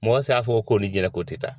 Mɔgɔ se y'a fɔ ko ni jɛnɛko tɛ taa.